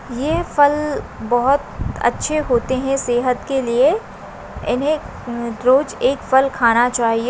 ये फल बोहत अच्छे होते है सेहत के लिए इन्हे रोज एक फल खाना चाहिए।